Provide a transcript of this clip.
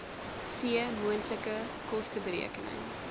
c moontlike kosteberekening